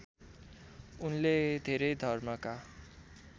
उनले धेरै धर्मका